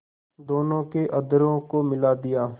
दोनों के अधरों को मिला दिया